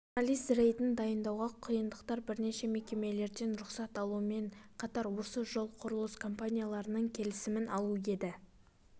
журналист рейдін дайындауға қиындықтар бірнеше мекемелерден рұқсат алумен қатар осы жол құрылыс компанияларының келісімін алу еді